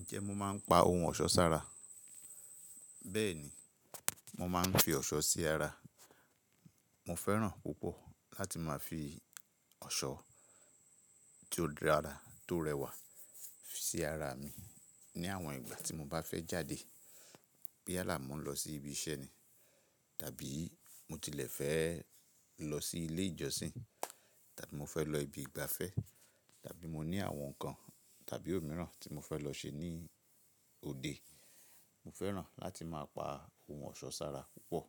Ǹjẹ́ mo máa ń pa ohun ọ̀ṣọ́ sára? Bẹ́ẹ̀ni, mo máa ń fi ọ̀ṣọ́ sí ara. Mo fẹ́ràn púpọ̀ láti máa fi ọ̀ṣọ́ tí ó dára tó rẹwà sí ara mi ní àwọn ìgbà tí mo bá fẹ́ jáde. Yala mo n lọ sí ibi iṣẹ́ ni, tàbí mo tilẹ̀ fẹ́ lọ sí ilé ìjọsìn, tàbí mo fẹ́ lọ ibi ìgbafẹ́, tàbí mo ní àwọn nǹkan tàbí òórùn mìíràn tí mo fẹ́ lọ ṣe ní òde. Mo fẹ́ràn láti máa pa ohun ọ̀ṣọ́ sára púpọ̀.